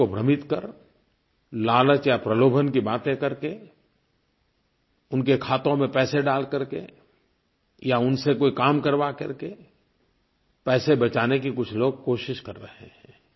ग़रीबों को भ्रमित कर लालच या प्रलोभन की बातें करके उनके खातों में पैसे डाल करके या उनसे कोई काम करवा करके पैसे बचाने की कुछ लोग कोशिश कर रहे हैं